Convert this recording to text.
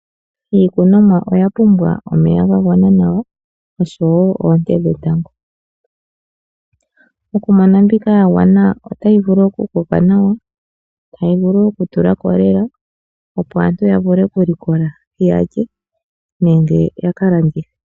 Iikunomwa oya pumbwa omeya ga gwana nawa, oshowo oonte dhetango. Okumona mbika ya gwana, otayi vulu okukoka nawa, tayi vulu okutulako nawa, opo aantu yavule okulikola yalye, nenge ya ka landithe.